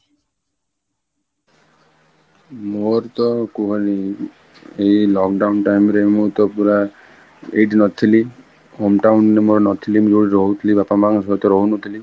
ମୋର ତ କୁହନି ଏଇ lockdown time ରେ ମୁଁ ତ ପୁରା ଏଇଠି ନଥିଲି home town ମୋରୋ ନଥିଲି, ମୁଁ ଯୋଉଠି ରହୁଥିଲି ବାପା ମାଙ୍କ ସହିତ ରହୁ ନଥିଲି